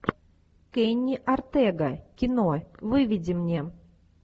кенни ортега кино выведи мне